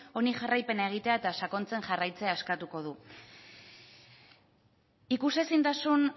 honi jarraipena egitea eta sakontzen jarraitzea eskatuko du ikusezintasun